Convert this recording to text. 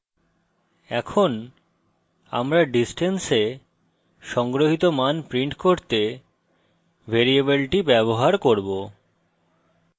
এখন আমরা distance we সংগ্রহিত মান print করতে ভ্যারিয়েবলটি ব্যবহার করব